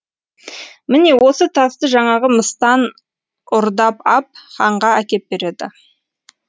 міне осы тасты жаңағы мыстан ұрдап ап ханға әкеп береді